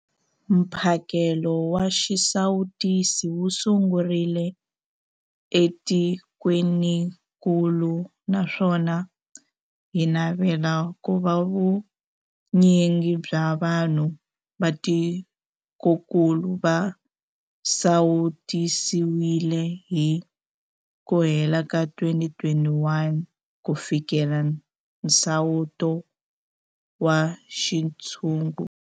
Mphakelo wa xisawutisi wu sungurile etikwenikulu naswona hi navela ku va vunyingi bya vanhu va tikokulu va sawutisiwile hi ku hela ka 2021 ku fikelela nsawuto wa xintshungu.